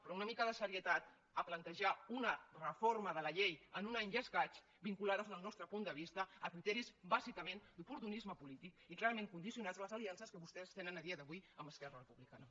però una mica de seriositat a plantejar una reforma de la llei en un any i escaig vinculada des del nostre punt de vista a criteris bàsicament d’oportunisme polític i clarament condicionats a les aliances que vostès tenen a dia d’avui amb esquerra republicana